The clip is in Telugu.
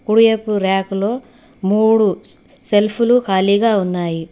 కుడివైపు రాకులలో మూడు సెల్ఫులు ఖాళీగా ఉన్నాయి.